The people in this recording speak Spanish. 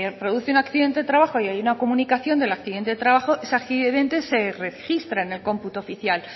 produce un accidente de trabajo y hay una comunicación del accidente de trabajo ese accidente se registra en el cómputo oficial